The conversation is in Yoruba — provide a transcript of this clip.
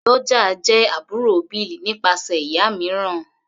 Doja jẹ́ àbúrò Bill nípasẹ̀ ìyá mìíràn.